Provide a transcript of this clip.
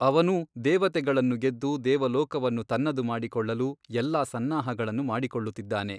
ಅವನೂ ದೇವತೆಗಳನ್ನು ಗೆದ್ದು ದೇವಲೋಕವನ್ನು ತನ್ನದು ಮಾಡಿಕೊಳ್ಳಲು ಎಲ್ಲಾ ಸನ್ನಾಹಗಳನ್ನು ಮಾಡಿಕೊಳ್ಳುತ್ತಿದ್ದಾನೆ.